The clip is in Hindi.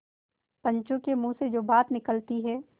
पंचों के मुँह से जो बात निकलती है